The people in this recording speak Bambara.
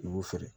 I b'u feere